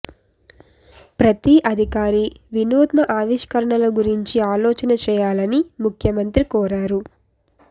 ప్రతి అధికారి వినూత్న ఆవిష్కరణల గురించి ఆలోచన చేయాలని ముఖ్యమంత్రి కోరారు